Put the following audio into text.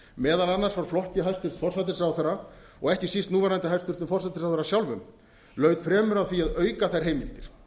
meðal annars frá flokki hæstvirtur forsætisráðherra og ekki síst hæstvirtur núverandi forsætisráðherra sjálfum laut fremur að því að auka þær heimildir